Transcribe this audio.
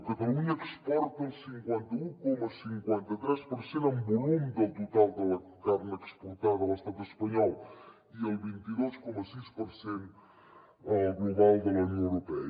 catalunya exporta el cinquanta un coma cinquanta tres per cent en volum del total de la carn exportada de l’estat espanyol i el vint dos coma sis per cent al global de la unió europea